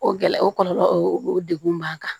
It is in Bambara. O gɛlɛya o kɔlɔlɔ o o degun b'an kan